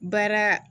Baara